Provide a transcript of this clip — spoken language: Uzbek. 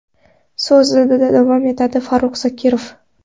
so‘zida davom etadi Farrux Zokirov.